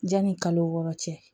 Yanni kalo wɔɔrɔ cɛ